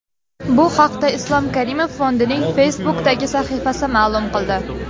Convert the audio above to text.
Bu haqda Islom Karimov Fondining Facebook’dagi sahifasi ma’lum qildi.